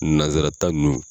Nazarata ninnun.